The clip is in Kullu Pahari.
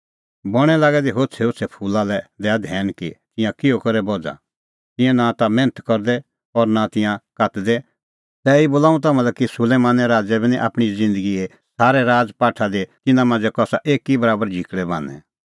बणैं लागै दै होछ़ैहोछ़ै फूला लै दैआ धैन कि तिंयां किहअ करै बझ़ा तिंयां नां ता मैन्थ करदै और नां तिंयां कातदै तैबी बोला हुंह तम्हां लै कि सुलैमाने राज़ै बी निं आपणीं ज़िन्दगीए सारै राज़पाठा दी तिन्नां मांझ़ै कसा एकी बराबर झिकल़ै बान्हैं